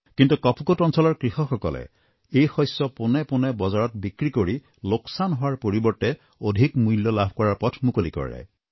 কিন্তু কপকোট অঞ্চলৰ কৃষকসকলে এই শস্য পোনে পোনে বজাৰত বিক্ৰী কৰি লোকচান হোৱাৰ পৰিৱৰ্তে অধিক মূল্য লাভ কৰাৰ পথ মুকলি কৰে